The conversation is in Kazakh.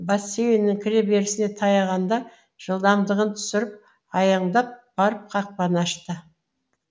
бассейннің кіре берісіне таяғанда жылдамдығын түсіріп аяңдап барып қақпаны ашты